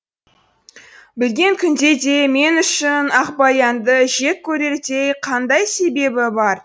білген күнде де мен үшін ақбаянды жек көрердей қандай себебі бар